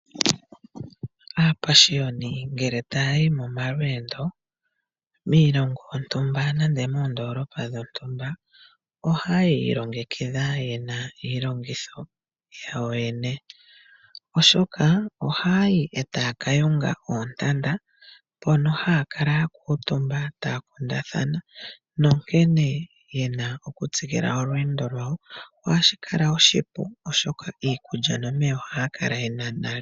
Aapashioni ngele taya yi momalweendo miilongo yontumba nenge moondoolopa dhontumba ohaya yi yi ilongekidha ye na iilongitho yawo yoyene, oshoka ohaya yi e taya ka yunga oontanda mpoka haya kala ya kuutumba e taya kundathana nkene ye na okutsikila olweendo lwawo. Ohashi kala oshipu, oshoka iikulya nomeya ohaya kala ye na nale.